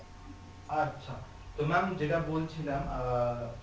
আচ্ছা তো maam যেটা বলছিলাম আহ